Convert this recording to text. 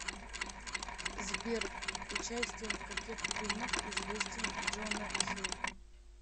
сбер участием в каких фильмах известен джона хилл